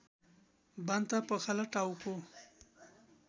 बान्ता पखाला टाउको